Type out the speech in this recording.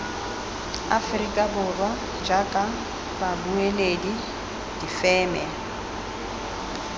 aforika borwa jaaka babueledi difeme